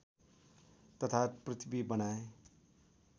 तथा पृथ्वी बनाए